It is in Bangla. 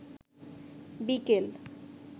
বিকেল